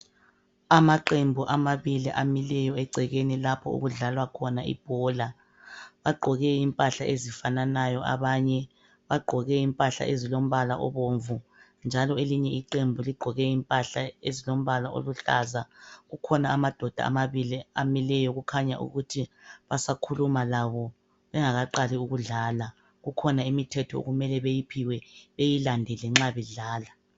Amaqembu amabili amileyo egcekeni lapho okudlalwa khona ibhola. Bagqoke impahla ezifananayo, abanye bagqoke ezilombala obomvu, njalo elinye iqembu ligqoke impahla ezilombala oluhlaza, kukhona amadoda amabili amileyo okukhanya ukuthi basakhuluma labo bengakaqali ukudlala. Kukhona imithetho okumele bayiphiwe, bayilanedele nxa bedlala.